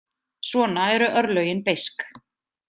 Svona eru örlögin beisk.